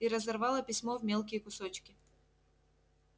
и разорвала письмо в мелкие кусочки